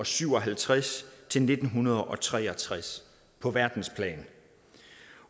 syv og halvtreds til nitten tre og tres på verdensplan